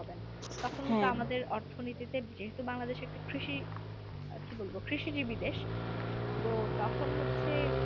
অর্থনীতিতে যেহেতু বাংলাদেশেকৃষি কি বলবো কৃষিজীবী দেশ তো তখন হচ্ছে